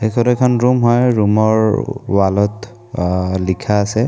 এইখন এখন ৰুম হয় ৰুম ৰ ৱাল ত আ লিখা আছে।